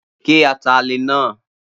Ge atalẹ̀ náà!